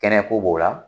Kɛnɛ ko b'o la